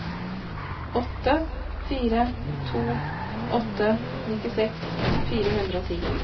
åtte fire to åtte nittiseks fire hundre og ti